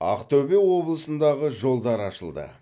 ақтөбе облысындағы жолдар ашылды